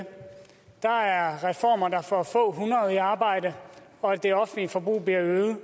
der er reformer der får få hundrede i arbejde og det offentlige forbrug bliver øget